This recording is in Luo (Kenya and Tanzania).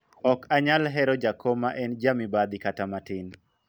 ok anyal hero jakom ma en ja mibadhi kata matin